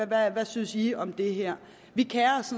hvad synes i om det her vi kerer os